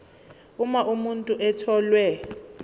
uma umuntu etholwe